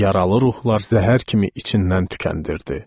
Və yaralı ruhlar zəhər kimi içindən tükəndirdi.